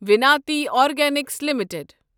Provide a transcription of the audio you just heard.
Vinati organics limited